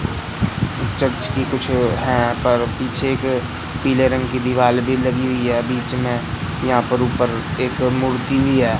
Church की कुछ है पर पीछे एक पीले रंग की दीवाल भी लागी हुई है बीच में यहां पर ऊपर एक मूर्ति भी है।